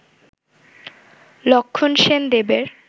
লক্ষণসেন দেবের